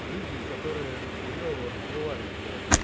люди которые хуева развивались блять